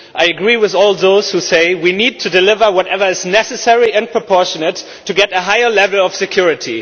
I agree with all those who say we need to deliver whatever is necessary and proportionate to get a higher level of security.